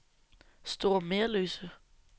Store Merløse